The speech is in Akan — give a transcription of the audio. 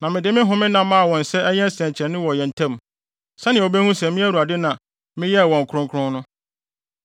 Na mede me homenna maa wɔn sɛ ɛnyɛ nsɛnkyerɛnne wɔ yɛn ntam, sɛnea wobehu sɛ me Awurade na meyɛɛ wɔn kronkron no.